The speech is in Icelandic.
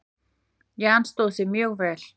Jan stóð sig mjög vel.